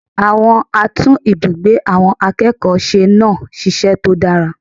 Àwọn atún ibùgbé àwọn akẹ́kọ̀ọ́ se náà sisẹ́ tó dára